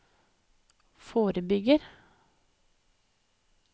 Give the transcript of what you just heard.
forebygger